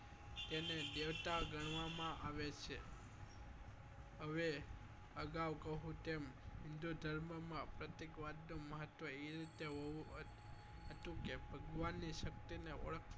એને દેવતા ગણવા માં આવે છે હવે અગાઉ કહું તેમ હિન્દુધર્મ માં પ્રત્યેક વાત નું મહત્વ એ રીતે હોવું હતું કે ભગવાન ની શક્તિ ને ઓળખ